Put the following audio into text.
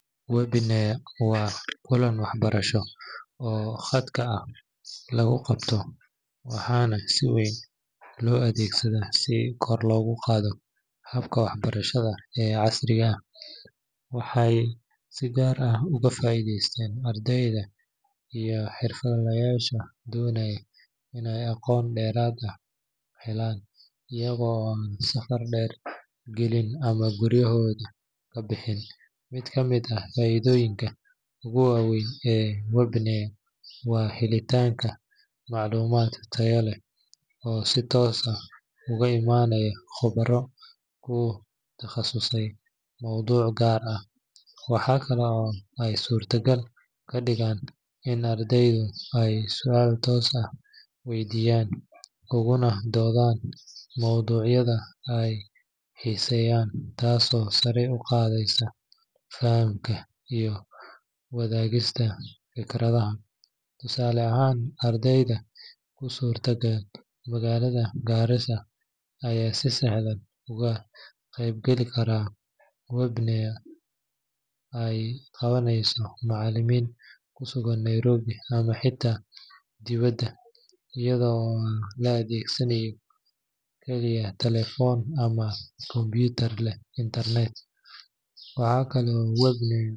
Webinars waa kulan waxbarasho oo khadka ah lagu qabto, waxaana si weyn loo adeegsaday si kor loogu qaado habka waxbarashada ee casriga ah. Waxay si gaar ah uga faa’iideeyaan ardayda iyo xirfadlayaasha doonaya inay aqoon dheeraad ah helaan iyaga oo aan safar dheer gelin ama guryahooda ka bixin. Mid ka mid ah faa’iidooyinka ugu waaweyn ee webinars waa helitaanka macluumaad tayo leh oo si toos ah uga imaanaya khubaro ku takhasustay mawduuc gaar ah. Waxa kale oo ay suurtagal ka dhigaan in ardaydu ay su’aalo toos u weydiiyaan, ugana doodaan mawduucyada ay xiiseeyaan, taasoo sare u qaadaysa fahamka iyo wadaagista fikradaha. Tusaale ahaan, arday ku sugan magaalada Garissa ayaa si sahlan uga qeybgeli kara webinar ay qabanayaan macallimiin ku sugan Nairobi ama xitaa dibadda, iyada oo la adeegsanayo kaliya taleefan ama kombiyuutar leh internet. Waxa kale oo webinars.